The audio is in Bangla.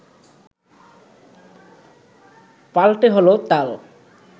পাল্টে হলো তাল